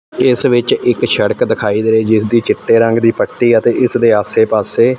ਇਸ ਵਿੱਚ ਇੱਕ ਸੜਕ ਦਿਖਾਈ ਦੇ ਰਹੀ ਜਿਸਦੀ ਚਿੱਟੇ ਰੰਗ ਦੀ ਪੱਟੀ ਅਤੇ ਇਸ ਦੇ ਆਸੇ ਪਾਸੇ--